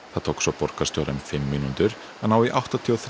það tók svo borgarstjóra um fimm mínútur að ná í áttatíu og þrjú